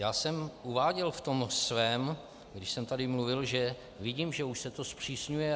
Já jsem uváděl v tom svém, když jsem tady mluvil, že vidím, že už se to zpřísňuje.